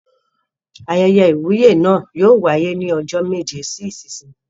Ayẹyẹ ìwúyè náà yóò wáyé ní ọjọ́ méje sí ìsinsìnyí.